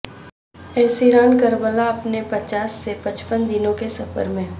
اسیران کربلا اپنے پچاس سے پچپن دنوں کے سفر میں